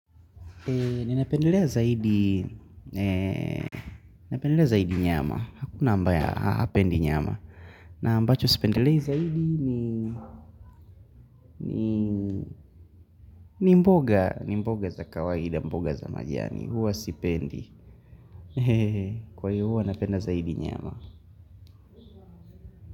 Ninapendelea zaidi, ninapendele zaidi nyama hakuna ambaye hapendi nyama na ambacho si pendele zaidi ni ni mboga, ni mboga za kawaida mboga za majani huwa sipendi, kwa hiyo huwa napenda zaidi nyama.